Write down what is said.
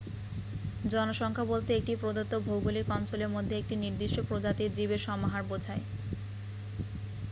জনসংখ্যা বলতে একটি প্রদত্ত ভৌগলিক অঞ্চলের মধ্যে একটি নির্দিষ্ট প্রজাতির জীবের সমাহার বোঝায়